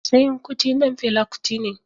Seun Kuti ɗan Fela Kuti ne.